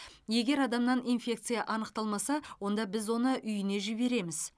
егер адамнан инфекция анықталмаса онда біз оны үйіне жібереміз